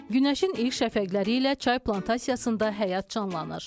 Günəşin ilk şəfəqləri ilə çay plantasiyasında həyat canlanır.